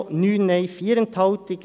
3 Ja, 9 Nein, 4 Enthaltungen.